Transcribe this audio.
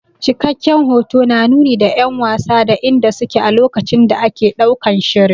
Cikakken hoto na nuni da 'yan wasa da inda su ke a lokacin da ake ɗaukan shirin.